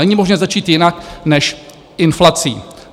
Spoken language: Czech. Není možné začít jinak než inflací.